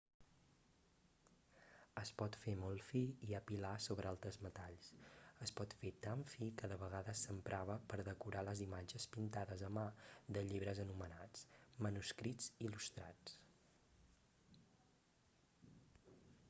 es pot fer molt fi i apilar sobre altres metalls es pot fer tan fi que de vegades s'emprava per decorar les imatges pintades a mà de llibres anomenats manuscrits il·lustrats